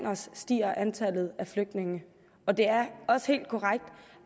os stiger antallet af flygtninge og det er også helt korrekt